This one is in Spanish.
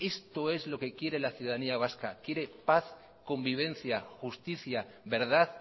esto es lo que quiere la ciudadanía vasca quiere paz convivencia justicia verdad